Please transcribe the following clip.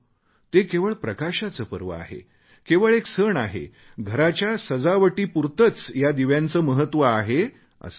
ते केवळ प्रकाशाचे पर्व आहे केवळ एक सण आहे घराच्या सजावटीपुरतेच या दिव्यांचे महत्त्व आहे असे नाही